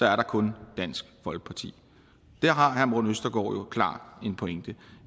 er der kun dansk folkeparti der har herre morten østergaard klart en pointe